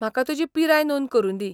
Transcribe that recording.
म्हाका तुजी पिराय नोंद करुंदी.